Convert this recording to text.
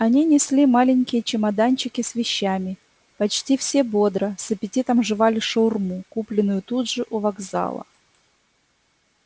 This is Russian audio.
они несли маленькие чемоданчики с вещами почти все бодро с аппетитом жевали шаурму купленную тут же у вокзала